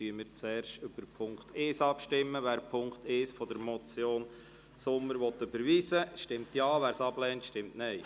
Wer den Punkt 1 der Motion von Grossrat Sommer überweisen will, stimmt Ja, wer dies ablehnt, stimmt Nein.